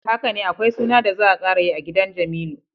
Hakane akwai suna da za a karayi a gidan Jamilu.